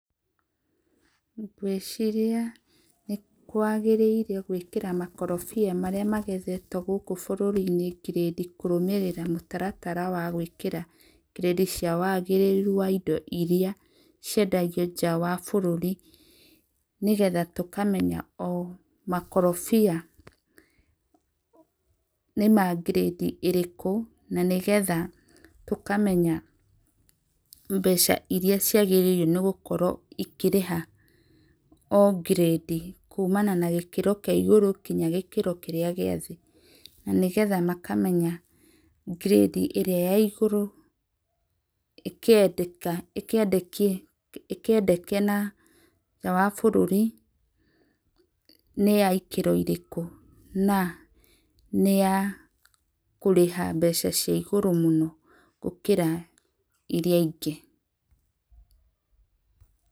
Ngwĩciria nĩ kwagĩrĩire gwĩkĩra makorobia marĩa magethetwo gũkũ bũrũri-inĩ ngirĩndi kũrũmĩrĩra mũtaratara wa gwĩka ngirĩndi cia wagĩrĩru wa indo iria ciendagio nja wa bũrũri nĩgetha tũkamenya o makorobia, nĩma ngirĩndi ĩrĩkũ na nĩgetha tũkamenya mbeca iria ciagĩarĩirwo gũkorwo ikĩrĩha, o ngirĩndi kumana na gĩkĩro kĩa igũrũ nginya gĩkaro gĩa thĩ na nĩgetha makamenya ngirĩndi ĩrĩa ya igũrũ ĩkĩendeke na nja wa bũrũri nĩ ya kiro irĩkũ na nĩ ya kũrĩha mbeca cia igũrũ mũno gũkĩra iria ingĩ.